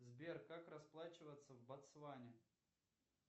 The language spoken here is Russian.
сбер как расплачиваться в ботсване